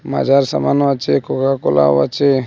মাজার সামান ও আছে কোকাকোলাও আছে।